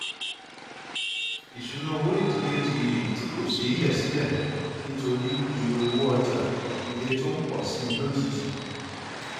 ìṣúnná owó ìdílé di èyí tí kò ṣeé yẹ sílẹ nítorí iye owó ọjà ilé tó ń pọ sí i lójijì